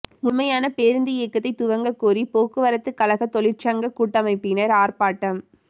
முழுமையான பேருந்து இயக்கத்தை துவங்க கோரி போக்குவரத்து கழக ெதாழிற்சங்க கூட்டமைப்பினர் ஆர்ப்பாட்டம்